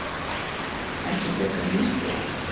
Ekki frekar en Ísbjörg.